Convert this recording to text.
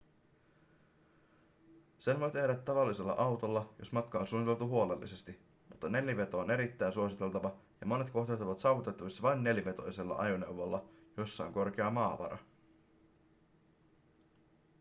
sen voi tehdä tavallisella autolla jos matka on suunniteltu huolellisesti mutta neliveto on erittäin suositeltava ja monet kohteet ovat saavutettavissa vain nelivetoisella ajoneuvolla jossa on korkea maavara